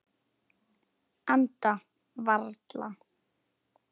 Anda varla.